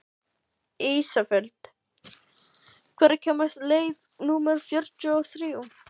Ísafold, hvenær kemur leið númer fjörutíu og þrjú?